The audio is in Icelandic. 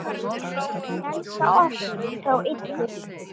Frelsa oss frá illu!